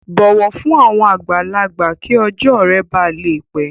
Bọwọ fun awọn agbalagba ki ọjọ rẹ ba le pẹ!